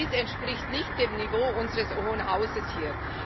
Dies entspricht nicht dem Niveau unseres Hohen Hauses hier.